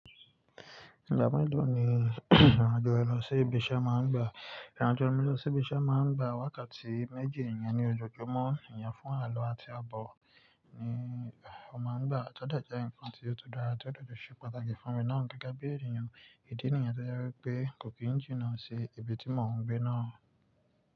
Ìgbà mẹ́lọ̀ ni ìrìnàjò e lọ sí ibi iṣẹ́ máa ń gbà? Ìrìnàjò mi lọ sí ibi iṣẹ́ máa ń gbà wákàtí méjì ìyẹn ní ojoojúmọ́ ìyẹn fún àlọ́ àti abọ̀ ni ó máa ń gbà. Tọ́ dẹ̀ jẹ́ nǹkan tí ó tún dára, tọ́ dẹ̀ ṣe pàtàkì fún mi náà gẹ́gẹ́ bí ẹniyàn. Ìdí nìyẹn tọ́ jẹ́ wí pé kò kí ń jìnná sí ibi tí mọ̀ ń gbé náà.